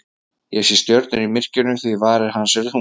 Ég sé stjörnur í myrkrinu því að varir hans eru þungar.